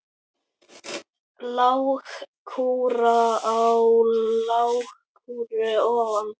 Lágkúra á lágkúru ofan.